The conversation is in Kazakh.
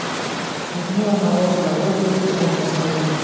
людмила морозова ол кезде он жаста еді